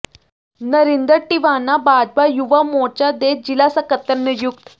ਨਰਿੰਦਰ ਟਿਵਾਣਾ ਭਾਜਪਾ ਯੁਵਾ ਮੋਰਚਾ ਦੇ ਜ਼ਿਲ੍ਹਾ ਸਕੱਤਰ ਨਿਯੁਕਤ